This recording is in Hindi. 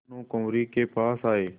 भानुकुँवरि के पास आये